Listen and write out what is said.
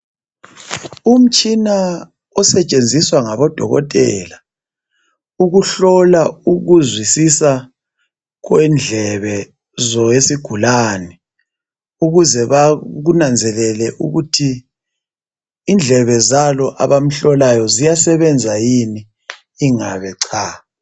Umtshina osetshenziswa ngabo dokotela ukuhlola ukuzwisisa kwendlebe zowesigulane ukuze bakunanzelele ukuthi indlebe zalo abamhlolayo ziyasebenza yini ingabe cha.